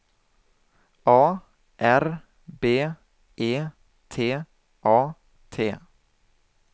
A R B E T A T